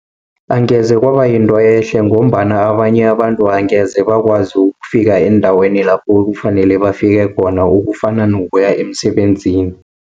Angeze kwaba yinto ehle, ngombana abanye abantu angeze bakwazi ukufika endaweni lapho kufunele bafike khona, okufana nokuya emsebenzini.